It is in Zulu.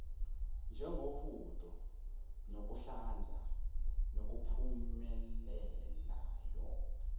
njengohudo nokuhlanza ngokuphumelelayo